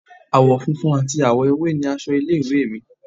Àwọ̀ funfun ati àwọ̀ ewé ni aṣọ ilé ìwé è mi